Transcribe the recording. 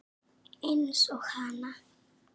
Eins og hana.